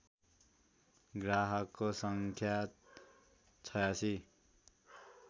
ग्राहकको सङ्ख्या ८६